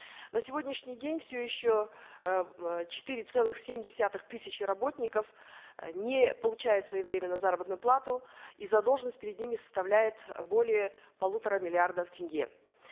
на сегодняшний день все еще э четыре целых семь десятых тысяч работников э не получают своевременно заработную плату и задолженность перед ними составляет более полутора миллиардов тенге